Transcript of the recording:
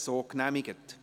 Non Enthalten